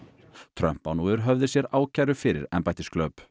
Trump á nú yfir höfði sér ákæru fyrir